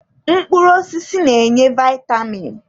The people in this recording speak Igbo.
Mkpụrụ osisi na-enye vitamin.